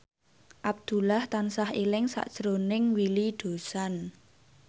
Abdullah tansah eling sakjroning Willy Dozan